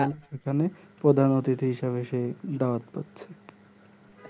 সেখানে প্রধান অতিথি হিসেবে সে দাওয়াত পাচ্ছে